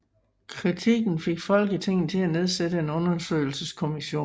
Kritikken fik Folketinget til at nedsætte en undersøgelseskommission